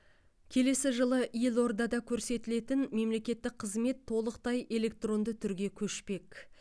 келесі жылы елордада көрсетілетін мемлекеттік қызмет толықтай электронды түрге көшпек